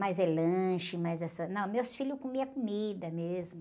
Mais é lanche, mais é... Não, meus filhos comiam comida mesmo.